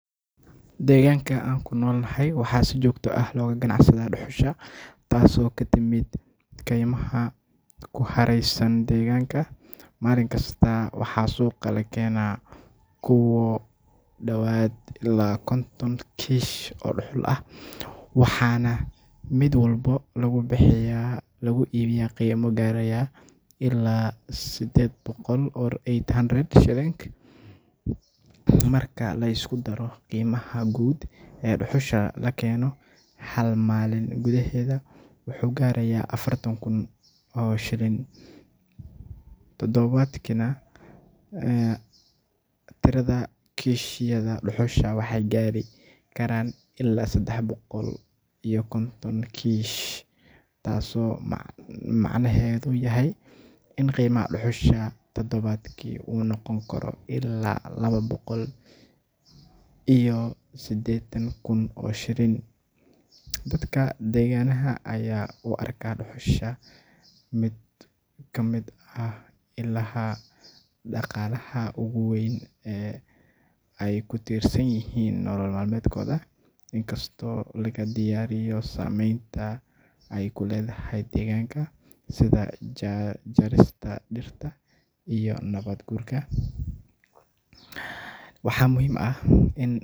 Deegaanka aan ku nool nahay waxaa si joogto ah looga ganacsadaa dhuxusha taasoo ka timid kaymaha ku hareeraysan deegaanka. Maalin kasta waxaa suuqa la keenaa ku dhawaad ilaa konton kiish oo dhuxul ah, waxaana mid walba lagu iibiyaa qiimo gaaraya ilaa eight hundred shillings. Marka la isku daro, qiimaha guud ee dhuxusha la keeno hal maalin gudaheed wuxuu gaarayaa afartan kun oo shillings. Toddobaadkiina tirada kiishyada dhuxusha waxay gaari karaan illaa saddex boqol iyo konton kiish, taasoo macnaheedu yahay in qiimaha dhuxusha toddobaadkii uu noqon karo illaa laba boqol iyo siddeetan kun oo shillings. Dadka deegaanka ayaa u arka dhuxusha mid ka mid ah ilaha dhaqaalaha ugu weyn ee ay ku tiirsan yihiin nolol maalmeedkooda, inkastoo laga dayrinayo saameynta ay ku leedahay deegaanka sida jarista dhirta iyo nabaad guurka. Waxaa muhiim ah in.